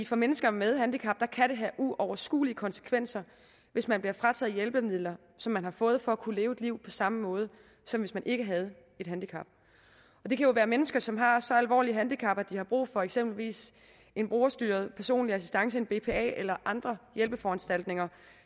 for mennesker med handicap have uoverskuelige konsekvenser hvis man bliver frataget hjælpemidler som man har fået for at kunne leve et liv på samme måde som hvis man ikke havde et handicap det kan være mennesker som har så alvorlige handicap at de har brug for eksempelvis borgerstyret personlig assistance en bpa eller andre hjælpeforanstaltninger